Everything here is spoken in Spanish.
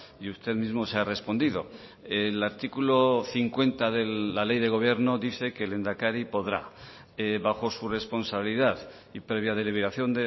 y usted mismo se ha respondido el artículo cincuenta de la ley de gobierno dice que el lehendakari podrá bajo su responsabilidad y previa deliberación